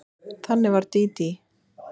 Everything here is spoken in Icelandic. Þannig var Dídí.